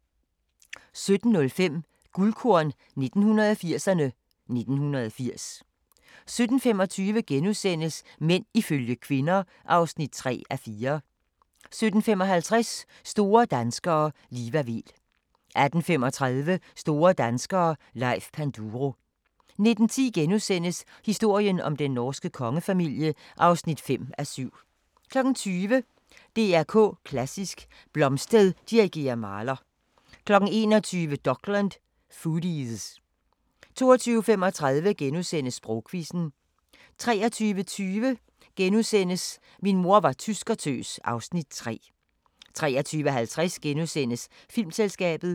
17:05: Guldkorn 1980'erne: 1980 17:25: Mænd ifølge kvinder (3:4)* 17:55: Store danskere - Liva Weel 18:35: Store danskere - Leif Panduro 19:10: Historien om den norske kongefamilie (5:7)* 20:00: DR K Klassisk: Blomstedt dirigerer Mahler 21:00: Dokland: Foodies 22:35: Sprogquizzen * 23:20: Min mor var tyskertøs (Afs. 3)* 23:50: Filmselskabet *